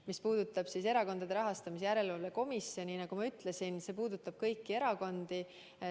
Mis puudutab Erakondade Rahastamise Järelevalve Komisjoni, siis nagu ma ütlesin, see puudutab kõiki erakondi.